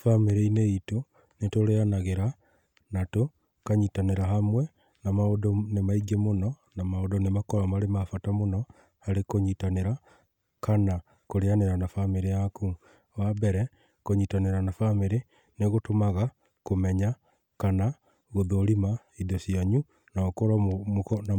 Bamĩrĩ-inĩ itũ nĩ tũrĩanagĩra na tũkanyitanĩra hamwe na maũndũ nĩ maingĩ mũno na maũndũ nĩmakoro marĩ mabata mũno harĩ kũnyitanĩra kana kũrĩanĩra na bamĩrĩ yaku. Wambere kũnyitanĩra na bamĩrĩ nĩgũtũmaga kũmenya kana gũthũrima indo cianyu na mũkorwo,